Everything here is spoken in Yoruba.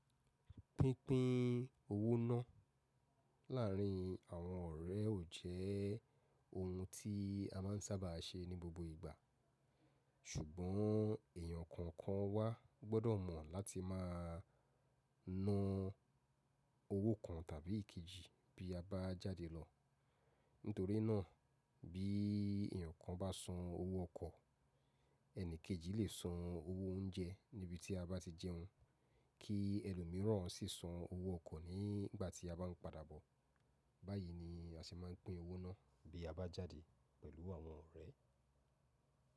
Pínpín owó ná. Láàrin àwọn ọ̀rẹ́ ò jẹ́ ohun tí a máa ń sábà ṣe ní gbogbo ìgbà, ṣùgbọ́n èèyàn kọ̀ọ̀kan wa gbọ́dọ̀ mọ̀ láti máa na owó kan tàbí ikejì bí a bá jáde lọ. Nítorí náà, bí èèyàn kan bá san owó ọkọ̀, ẹni kejì lè san owó oúnjẹ níbi tí a bá ti jẹun, kí ẹlòmíràn sì san owó ọkọ̀ nígbà tí a bá ń padà bọ̀. Báyìí ni a se máa pín owó ná bí a bá jáde pẹ̀lú àwọn ọ̀rẹ́.